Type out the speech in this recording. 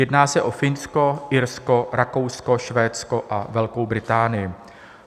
Jedná se o Finsko, Irsko, Rakousko, Švédsko a Velkou Británii.